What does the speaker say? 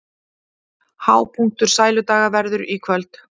Hápunktur Sæludaga verður í kvöld